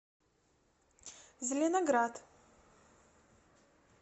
зеленоград